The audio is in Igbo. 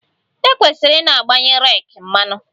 E kwesịrị i na-agbanye reeki mmanụ